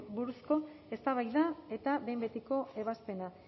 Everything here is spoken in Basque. buruzko eztabaida eta behin betiko ebazpena